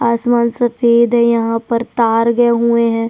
आसमान सफेद है यहाँ पर तार गये हुए हैं।